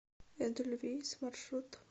эдельвейс маршрут